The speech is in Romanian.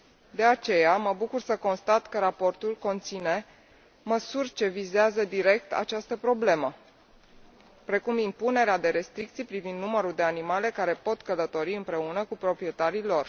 De aceea, mă bucur să constat că raportul conține măsuri ce vizează direct această problemă, precum impunerea de restricții privind numărul de animale care pot călători împreună cu proprietarii lor.